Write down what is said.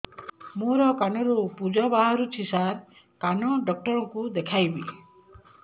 ମୋ କାନରୁ ପୁଜ ବାହାରୁଛି ସାର କାନ ଡକ୍ଟର କୁ ଦେଖାଇବି